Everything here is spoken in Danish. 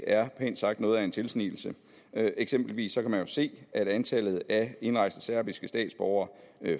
er pænt sagt noget af en tilsnigelse eksempelvis kan man jo se at antallet af indrejste serbiske statsborgere